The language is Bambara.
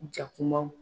Jakumaw